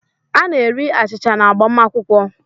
A na-eri achịcha n’agbamakwụkwọ